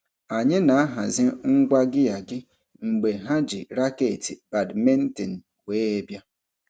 Anyị na-ahazi ngwa gịa gị mgbe ha ji raketị badmintin wee bịa.